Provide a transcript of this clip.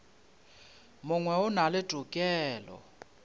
mongwe o na le tokelo